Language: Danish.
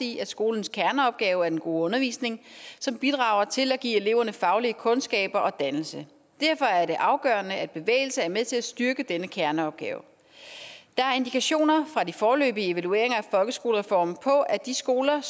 i at skolens kerneopgave er den gode undervisning som bidrager til at give eleverne faglige kundskaber og dannelse derfor er det afgørende at bevægelse er med til at styrke denne kerneopgave der er indikationer fra de foreløbige evalueringer af folkeskolereformen på at de skoler